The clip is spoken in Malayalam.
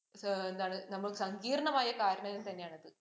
എന്താണ് നമ്മള്‍ സങ്കീർണമായ കാരണങ്ങൾ തന്നെയാണത്.